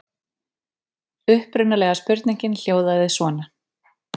Upprunalega spurningin hljóðaði svona: